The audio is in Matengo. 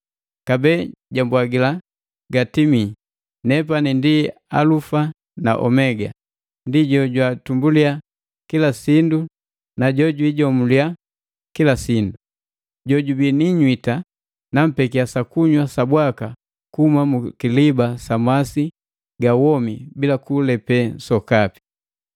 Kabee jwambwagila, “Gatimii! Nepani ndi Alufa na Omega ndi Jojwatumbulia kila sindu na Jojwiijomulia kila sindu. Jo jubii ni inywita nampekia sakunywa sabwaka kuhuma mu kiliba sa masi ga womi bila kulepee sokapi.